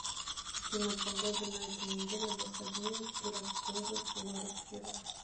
афина погода на этой неделе в выходные в кировской области город киров